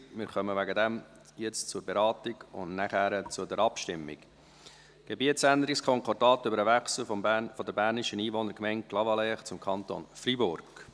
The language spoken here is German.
Wir kommen deswegen nun zur Detailberatung und danach zur Abstimmung über das Gebietsänderungskonkordat über den Wechsel der bernischen Einwohnergemeinde Clavaleyres zum Kanton Freiburg.